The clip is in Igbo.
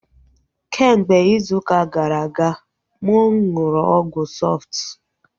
Kemgbe izu ụka gara aga mụ nụrụ ọgwụ Sọftu